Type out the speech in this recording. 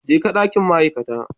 Jeka dakin ma'aikata.